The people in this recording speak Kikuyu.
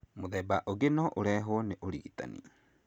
Mũthemba ũngĩ no ũrehwo nĩ ũrigitani.